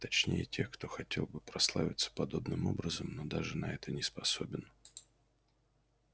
точнее тех кто хотел бы прославиться подобным образом но даже на это не способен